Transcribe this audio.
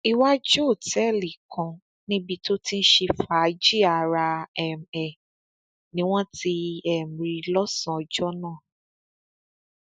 iwájú òtẹẹlì kan níbi tó ti ń ṣe fàájì ara um ẹ ni wọn ti um rí i lọsànán ọjọ náà